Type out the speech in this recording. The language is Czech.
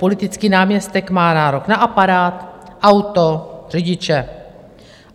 Politický náměstek má nárok na aparát, auto, řidiče.